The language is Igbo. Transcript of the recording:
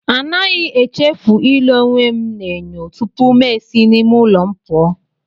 Anaghị echefu ile onwe m n'enyo tupu ma esi n'ime ụlọ m pụọ.